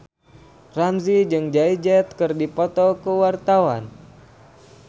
Ramzy jeung Jay Z keur dipoto ku wartawan